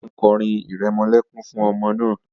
The woman is singing a lullaby to the baby